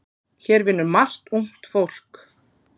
Hér vinnur margt ungt fólk.